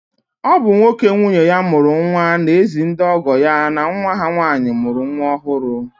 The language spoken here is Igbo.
Ọ bụ nwoke nwunye ya mụrụ nwa na-ezi ndị ọgọ ya na nwa ha nwaanyị mụrụ nwa ọhụrụ.